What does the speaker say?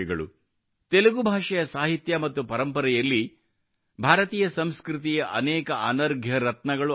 ತೆಲುಗು ಭಾಷೆಯ ಸಾಹಿತ್ಯ ಮತ್ತು ಪರಂಪರೆಯಲ್ಲಿ ಭಾರತೀಯ ಸಂಸ್ಕೃತಿಯ ಅನೇಕ ಅನರ್ಘ್ಯ ರತ್ನಗಳು ಅಡಗಿವೆ